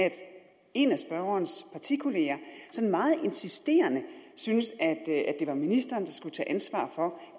en af spørgerens partikollegaer sådan meget insisterende syntes at det var ministeren der skulle tage ansvar for